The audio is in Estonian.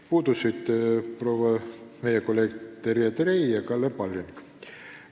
Puudusid meie kolleegid Terje Trei ja Kalle Palling.